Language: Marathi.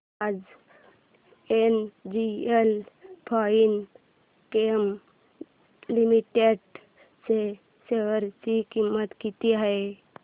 आज एनजीएल फाइनकेम लिमिटेड च्या शेअर ची किंमत किती आहे